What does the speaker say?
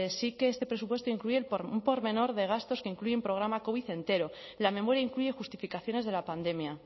sí que este presupuesto incluye un por menor de gastos que incluye un programa covid entero la memoria incluye justificaciones de la pandemia